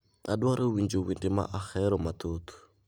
Adwaro winjo wende ma aheromathoth